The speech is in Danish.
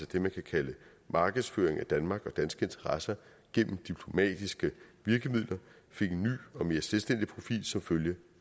det man kan kalde markedsføring af danmark og danske interesser gennem diplomatiske virkemidler fik en ny og mere selvstændig profil som følge